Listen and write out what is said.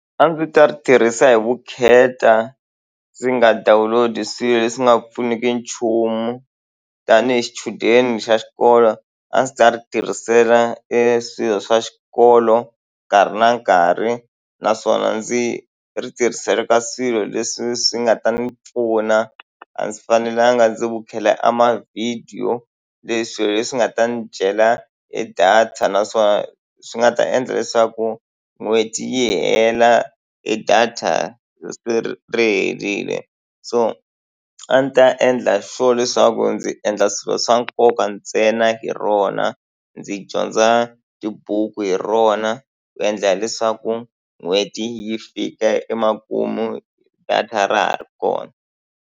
A ndzi ta ri tirhisa hi vukheta, ndzi nga download-i swilo leswi nga pfuniki nchumu. Tanihi xichudeni xa xikolo, a ndzi ta ri tirhisela e swilo swa xikolo nkarhi na nkarhi. Naswona ndzi ri tirhisela ka swilo leswi swi nga ta ni pfuna, a ndzi fanelanga ndzi vukheta a mavhidiyo. Leswi hi leswi nga ta n'wi dyela e data, naswona swi nga ta endla leswaku n'hweti yi hela e data ri herile. So a ndzi ta endla sure leswaku ndzi endla swilo swa nkoka ka ntsena hi rona, ndzi dyondza tibuku hi rona, ku endlela leswaku n'hweti yi fika emakumu data ra ha ri kona.